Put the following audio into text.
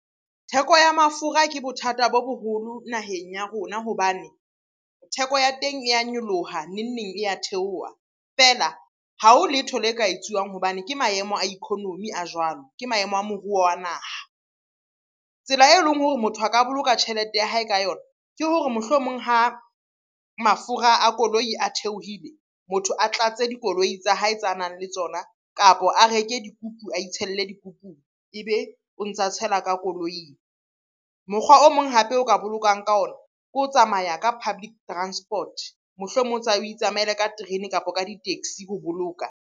Theko ya mafura ke bothata bo boholo naheng ya rona hobane theko ya teng e ya nyoloha, neng-neng e ya theoha. Feela ha ho letho le ka etsuwang hobane ke maemo a economy a jwalo, ke maemo a moruo wa naha. Tsela e leng hore motho a ka boloka tjhelete ya hae ka yona, ke hore mohlomong ha mafura a koloi a theohile. Motho a tlatse dikoloi tsa hae tsa nang le tsona, kapo a reke dikupu, a itshelle dikupung ebe o ntsa tshela ka koloing. Mokgwa o mong hape o ka bolokang ka ona ke ho tsamaya ka public transport, mohlomong o itsamaele ka terene kapo ka di-taxi ho boloka.